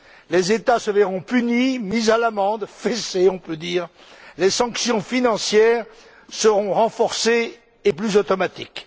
Les États se verront punis, mis à l'amende, fessés on peut dire les sanctions financières seront renforcées et plus automatiques.